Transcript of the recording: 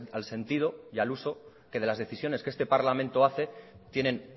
al sentido y al uso que de las decisiones que este parlamento hace tienen